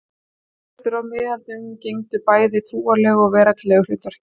Klaustur á miðöldum gegndu bæði trúarlegu og veraldlegu hlutverki.